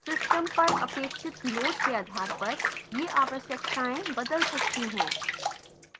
system पर अपेक्षित load के आधार पर ये आवश्यताएं बदल सकती हैं